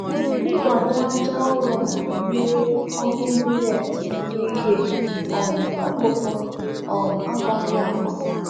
Nkwado aja ụrọ na-enyere ọrụ mileeti nri ihe um ọkụkụ um agwaghị agwa